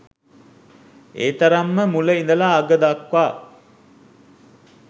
ඒතරම්ම මුල ඉඳලා අග දක්වා